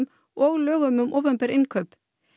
og lögum um opinber innkaup